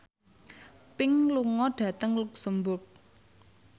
Pink lunga dhateng luxemburg